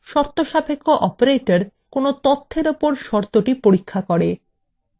শর্তসাপেক্ষ operators